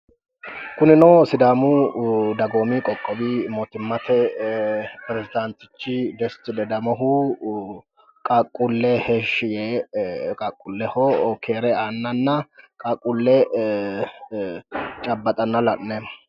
Kunino sidaamu sagoomu qoqqowi mootimmate pirezidaantichi Desti ledamohu qaaqquulle heeshshi yee qaaqquulleho keere aannanna qaaqquulle cabbaxanna la'neemmo.